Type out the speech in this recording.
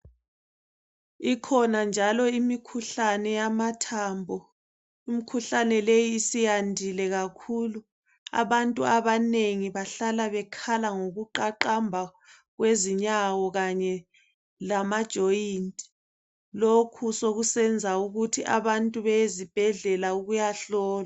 Ikhona njalo imikhuhlane yamathambo. Imikhuhlane leyi isiyandile kakhulu. Abantu abanengi bahlala bekhala ngokuqaqamba kwezinyawo kanye lamajoint. Lokhu sokusenza ukuthi abantu beyezibhedlela ukuyahlolwa.